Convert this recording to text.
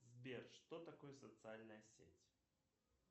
сбер что такое социальная сеть